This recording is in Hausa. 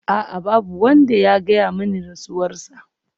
A'a! Babu wanda ya gaya mani rasuwarsa.